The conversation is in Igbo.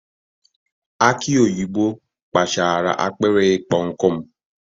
Aki oyibo kpachaara akpịrị ịkpọ nkụ m.